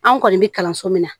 An kɔni bɛ kalanso min na